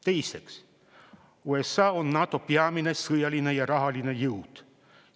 Teiseks, USA on NATO peamine sõjaline ja rahaline jõud.